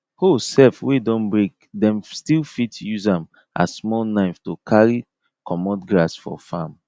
hoe seff wey don breake them still fit use am as small knife to carry cummot grass for farm